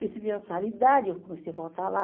Percebi uma claridade, eu comecei a voltar lá.